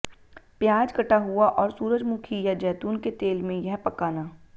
प्याज कटा हुआ और सूरजमुखी या जैतून के तेल में यह पकाना